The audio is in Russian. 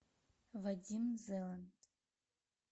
вадим зеланд